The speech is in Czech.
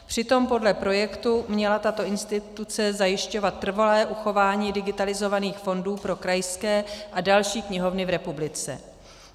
Přitom podle projektu měla tato instituce zajišťovat trvalé uchování digitalizovaných fondů pro krajské a další knihovny v republice.